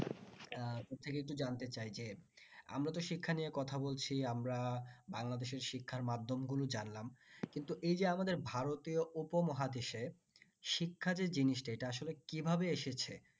আহ তোর থেকে একটু জানতে চাই যে আমরা তো শিক্ষা নিয়ে কথা বলছি আমরা বাংলাদেশের শিক্ষার মাধ্যম গুলো জানলাম কিন্তু এই যে আমাদের ভারতীয় উপমহাদেশে শিক্ষা যে জিনিস টা এটা আসলে কিভাবে এসেছে